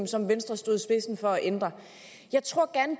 som venstre stod i spidsen for at ændre jeg tror